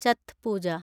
ചത്ത് പൂജ